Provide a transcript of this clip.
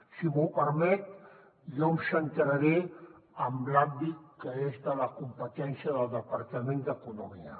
si m’ho permet jo em centraré en l’àmbit que és de la competència del departament d’economia